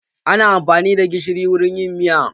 Ana amfani da gishiri wurin yin miya.